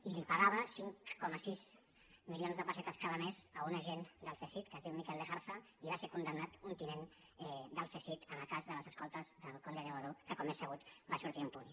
i li pagava cinc coma sis milions de pessetes cada mes a un agent del cesid que es diu mikel lejarza i va ser condemnat un tinent del cesid en el cas de les escoltes del conde de godó que com és sabut va sortir ne impune